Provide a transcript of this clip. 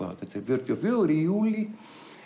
þetta er fjörutíu og fjögur í júlí